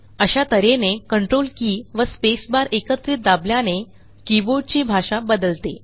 अशा त हेने कंट्रोल के व स्पेस बार एकत्रित दाबल्याने कीबोर्डची भाषा बदलते